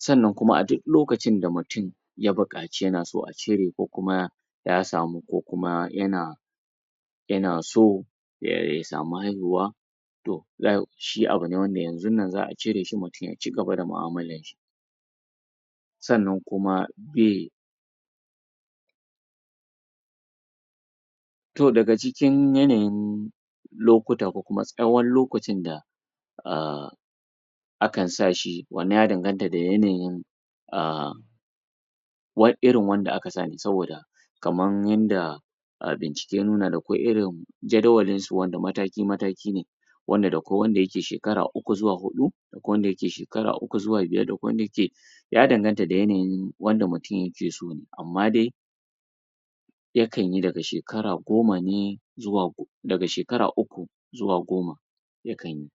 sannan kuma a duk lokacin da mutum ya buƙaci ya na so a cire ko kuma ya samu ko kuma ya na ya na so ya samu haihuwa to shi abu ne wanda yanzunnan za'a cire shi mutum ya cigaba da mu'amalarshi sannan kuma bai to daga cikin yanayin lokuta ko kuma tsawon lakacin da a akan sa shi, wannan ya danganta da yanayin a irin wanda aka sa ne saboda kamar yanda bincike ya nuna akwai irin jadawalinsu wanda mataki mataki ne wanda da kwai wanda ya ke shkara uku zuwa huɗu, akwai wanda ya ke shekara uku zuwa biyar akwai wanda ya ke ya danganta da yanayin wanda mutum ya ke so amma dai yakan yi daga shekara goma ne zuwa daga shekara uku zuwa goma yakan yi.